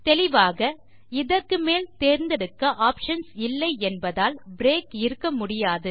தெளிவாக இதற்கு மேல் தேர்ந்தெடுக்க ஆப்ஷன்ஸ் இல்லை என்பதால் பிரேக் இருக்க முடியாது